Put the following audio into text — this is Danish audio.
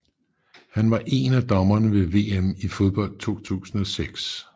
Han var én af dommerne ved VM i fodbold 2006